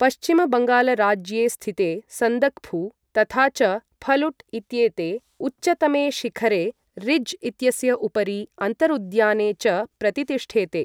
पश्चिमबङ्गालराज्ये स्थितेे सन्दक्फु तथा च फलुट् इत्येते उच्चतमे शिखरे रिज् इत्यस्य उपरि अन्तरुद्याने च प्रतितिष्ठेते।